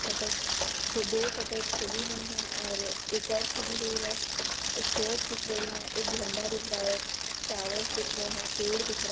shutters खुद दो shutters खुली हुई है और एक और खुली हुई है स्टेयर्स दिख रही है एक झंडा दिख रहा है टावर्स दिख रहे है पेड़ दिख रा --